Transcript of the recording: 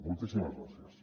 moltíssimes gràcies